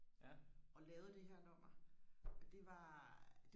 og lavet det her nummer og det var